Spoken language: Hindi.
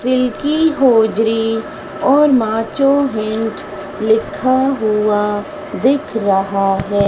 सिल्की होजरी और माचो हिन्ट लिखा हुआ दिख रहा है।